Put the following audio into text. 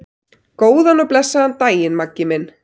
Góðan og blessaðan daginn, Maggi minn.